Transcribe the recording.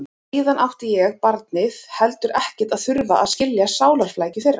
Og síðan átti ég, barnið, heldur ekkert að þurfa að skilja sálarflækjur þeirra.